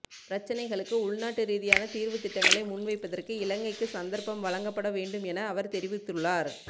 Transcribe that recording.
பிரச்சினைகளுக்கு உள்நாட்டு ரீதியான தீர்வுத் திட்டங்களை முன்வைப்பதற்கு இலங்கைக்கு சந்தர்ப்பம் வழங்கப்பட வேண்டுமென அவர் தெரிவித்துள்ளார்